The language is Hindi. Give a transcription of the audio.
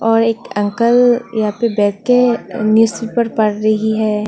और एक अंकल यहाँ पे बैठ के न्यूज पेपर पढ़ रही है।